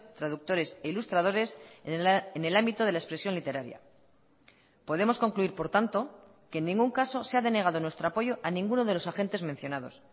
traductores e ilustradores en el ámbito de la expresión literaria podemos concluir por tanto que en ningún caso se ha denegado nuestro apoyo a ninguno de los agentes mencionados